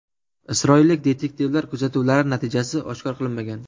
Isroillik detektivlar kuzatuvlari natijasi oshkor qilinmagan.